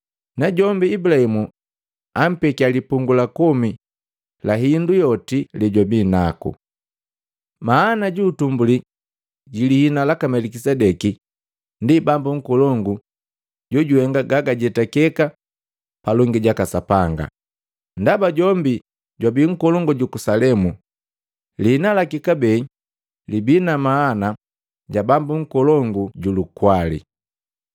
najombi Ibulahimu ampekia lipungu la komi la hindu yoti yejwabinaku. Mana juutumbuli jilihina laka Melikisedeki ndi “Bambu Nkolongu jojuhenga gagajetakeka palongi jaka Sapanga,” ndaba jombi jwabii nkolongu juku Salemu, lihina laki kabee libii na mana ja “Bambu Nkolongu ju lukwali.”